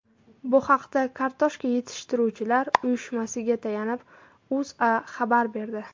Bu haqda Kartoshka yetishtiruvchilar uyushmasiga tayanib, O‘zA xabar berdi .